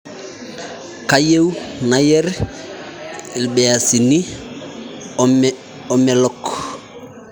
Kayieu nayer lbeasini emelok